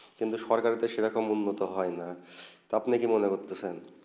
কিন্তু সরকারে যেইরকম উন্নত হয়ে আপনি কি মনে করেছেন